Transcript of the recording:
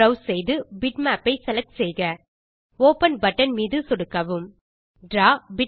browse செய்து bitmap ஐ select செய்க ஒப்பன் பட்டன் மீது சொடுக்கவும் டிராவ்